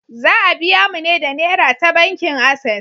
Za a biya mu ne da Nera ta bankin Ases.